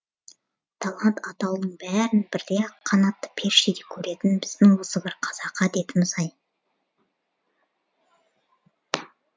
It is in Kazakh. талант атаулының бәрін бірдей ақ қанатты періштедей көретін біздің осы бір қазақы әдетіміз ай